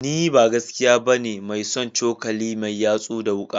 Ni ba gaskiya bane mai son cokali mai yatsu da wuka